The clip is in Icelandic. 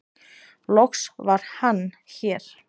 loks var Hann hér